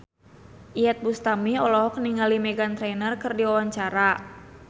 Iyeth Bustami olohok ningali Meghan Trainor keur diwawancara